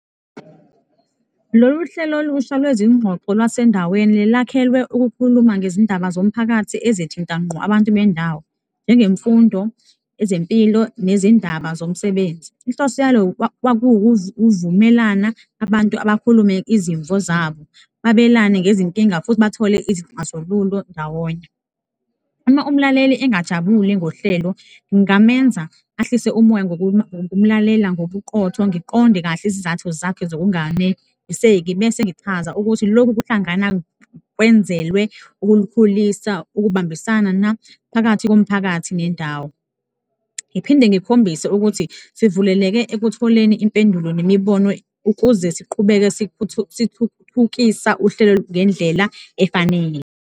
Lolu hlelo olusha lwezingxoxo lwasendaweni lakhelwe ukukhuluma ngezindaba zomphakathi ezithinta ngqo abantu bendawo, njengemfundo, ezempilo nezindaba zomsebenzi. Inhloso yalo kwakuwukuvumelana, abantu bakhulume izimvo zabo, babelane ngezinkinga futhi bathole izixazululo ndawonye. Uma umlaleli engajabule ngohlelo, ngingamenza ahlise umoya ngokumlalela ngobuqotho, ngiqonde kahle izizathu zakhe zokunganeliseki bese ngichaza ukuthi loku kwenzelwe ukulikhulisa, ukubambisana naphakathi komphakathi nendawo ngiphinde ngikhombise ukuthi sivuleleke ekutholeni impendulo nemibono ukuze siqhubeke sithuthukisa uhlelo ngendlela efanele.